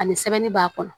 Ani sɛbɛnni b'a kɔnɔ